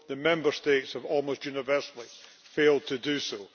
the Member States have almost universally failed to do so.